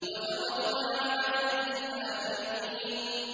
وَتَرَكْنَا عَلَيْهِ فِي الْآخِرِينَ